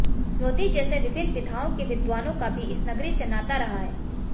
ज्योतिष जैसे विभिन्न विधाओं के विद्वानों का भी इस नगरी से नाता रहा है